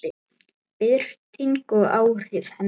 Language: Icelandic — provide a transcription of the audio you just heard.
Birting og áhrif hennar.